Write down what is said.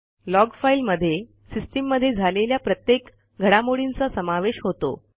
log file मध्ये सिस्टीममध्ये झालेल्या प्रत्येक घडामोडींचा समावेश होतो